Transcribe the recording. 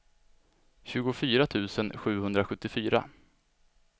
tjugofyra tusen sjuhundrasjuttiofyra